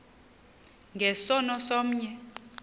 nge sono somnye